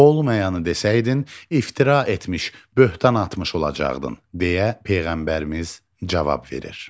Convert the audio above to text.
Olmayanı desəydin, iftira etmiş, böhtan atmış olacaqdın, deyə Peyğəmbərimiz cavab verir.